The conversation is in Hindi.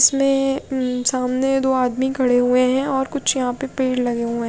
इसमें सामने दो आदमी खड़े हुए हैं और कुछ यहां पे पेड़ लगे हुए हैं।